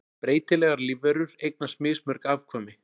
Breytilegar lífverur eignast mismörg afkvæmi.